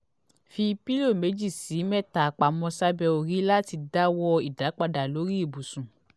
fi pilo meji si meta pamo sabe ori lati dawo idapada lori ibusun